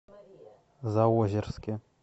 заозерске